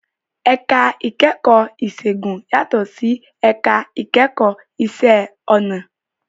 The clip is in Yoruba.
Ẹ̀ka ìkẹ́kọ̀ọ́ ìṣègùn yàtọ̀ sí ẹ̀ka ìkẹ́kọ̀ọ́ ìṣe ọnà